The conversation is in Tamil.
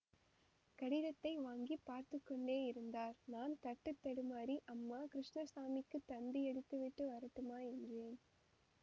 கடிதத்தை வாங்கிப் பார்த்து கொண்டேயிருந்தார் நான் தட்டு தடுமாறி அம்மா கிருஷ்ணசாமிக்குத் தந்தியடித்துவிட்டு வரட்டுமா என்றேன்